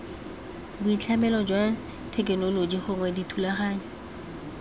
boitlhamelo jwa thekenoloji gongwe dithulaganyo